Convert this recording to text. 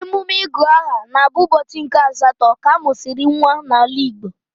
Emume ịgụ aha na-abụ ụbọchị nke asatọ ka a mụsịrị nwa n'ala Igbo